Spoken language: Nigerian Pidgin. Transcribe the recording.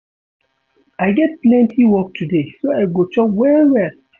I get plenty work today so I go chop well-well.